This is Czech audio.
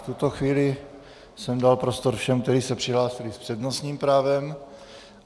V tuto chvíli jsem dal prostor všem, kteří se přihlásili s přednostním právem.